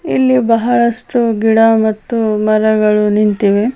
ಇಲ್ಲಿ ಬಹಳಷ್ಟು ಗಿಡ ಮತ್ತು ಮರಗಳು ನಿಂತಿವೆ .